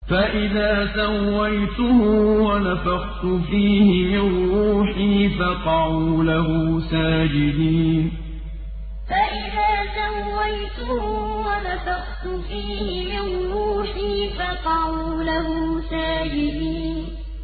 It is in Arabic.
فَإِذَا سَوَّيْتُهُ وَنَفَخْتُ فِيهِ مِن رُّوحِي فَقَعُوا لَهُ سَاجِدِينَ فَإِذَا سَوَّيْتُهُ وَنَفَخْتُ فِيهِ مِن رُّوحِي فَقَعُوا لَهُ سَاجِدِينَ